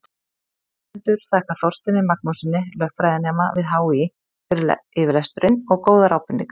Höfundur þakkar Þorsteini Magnússyni, lögfræðinema við HÍ, fyrir yfirlestur og góðar ábendingar.